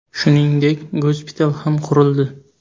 Shuningdek, gospital ham qurildi.